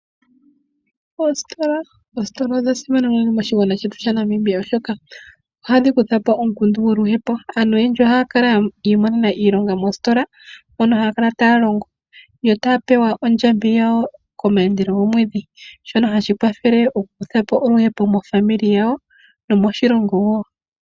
Oositola odha simana moshigwana shetu shaNamibia oshoka ohadhi kuthapo oluhepo aantu oyendji ohaya kala yi imonena iilonga moositola mono haya kala taya longo yo taya pewa ondjambi yawo komandelo gomwedhi shono hashi kwathele oku kuthapo oluhepo mofamily yawo nomoshilongo.